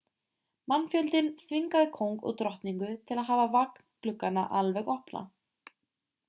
mannfjöldinn þvingaði kóng og drottningu til að hafa vagngluggana alveg opna